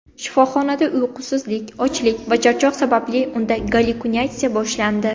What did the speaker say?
Shifoxonada uyqusizlik, ochlik va charchoq sababli unda gallyutsinatsiya boshlandi.